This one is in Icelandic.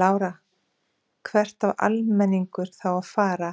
Lára: Hvert á almenningur þá að fara